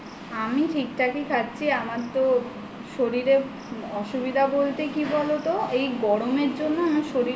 আমি ঠিক ঠাকই খাচ্ছি আমার তো শরীরে অসুবিধা বলতে কি বলো তো এই গরমের জন্য আমার শরীরে